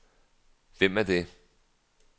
Hvem er det